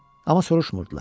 Amma soruşmurdular.